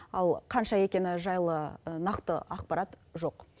ал қанша екені жайлы нақты ақпарат жоқ